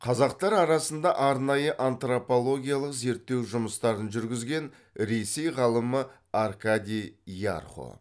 қазақтар арасында арнайы антропологиялық зерттеу жұмыстарын жүргізген ресей ғалымы аркадий ярхо